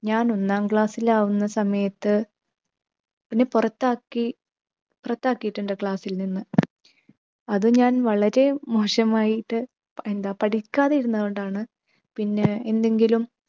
ഞാൻ ഒന്നാം class ൽ ആകുന്ന സമയത്ത്, എന്നെ പുറത്താക്കി പുറത്താക്കിയിട്ടുണ്ട് class ൽ നിന്ന്. അത് ഞാൻ വളരെ മോശമായിട്ട് എന്താ പഠിക്കാതിരുന്നതു കൊണ്ടാണ് പിന്നെ എന്തെങ്കിലും